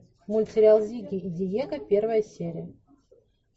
мультсериал зигги и диего первая серия